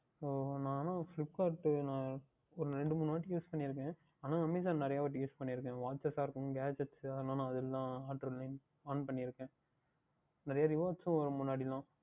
So நான் எல்லாம் Flipkart நான் ஓர் இரண்டு மூன்று வாற்றி Use பண்ணி இருக்கின்றேன் ஆனால் Amazon நிறைய வாற்றி Use பண்ணி இருக்கின்றேன் Watchs ஆகட்டும் Glass நான் அதில் தான் On பண்ணி இருக்கின்றேன் நிறைய Rewards எல்லாம் வரும் முன்னாடி எல்லாம்